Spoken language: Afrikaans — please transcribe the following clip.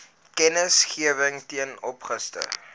kennisgewing ten opsigte